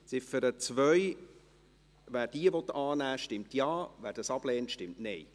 Wer diese annehmen will, stimmt Ja, wer diese ablehnt, stimmt Nein.